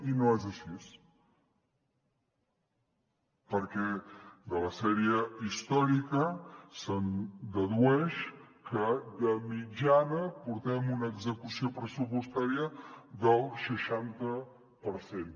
i no és així perquè de la sèrie històrica se’n dedueix que de mitjana portem una execució pressupostària del seixanta per cent